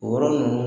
O yɔrɔ ninnu